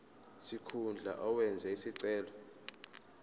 sikhundla owenze isicelo